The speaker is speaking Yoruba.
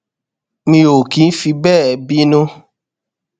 mi ò kì í fi béè bínú